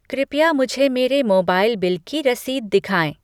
कृपया मुझे मेरे मोबाइल बिल की रसीद दिखाएँ।